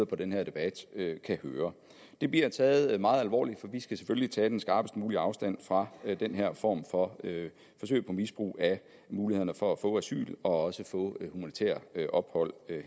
den her debat kan høre det bliver taget meget alvorligt for vi skal selvfølgelig tage den skarpest mulige afstand fra den her form for forsøg på misbrug af mulighederne for at få asyl og også få humanitært ophold